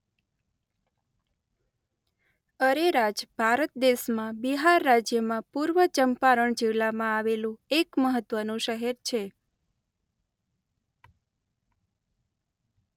અરેરાજ ભારત દેશમાં બિહાર રાજ્યમાં પૂર્વ ચંપારણ જિલ્લામાં આવેલું એક મહત્વનું શહેર છે.